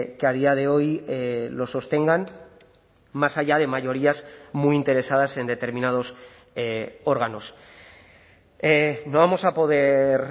que a día de hoy lo sostengan más allá de mayorías muy interesadas en determinados órganos no vamos a poder